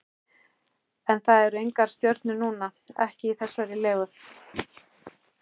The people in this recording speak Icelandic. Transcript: En það eru engar stjörnur núna, ekki í þessari legu.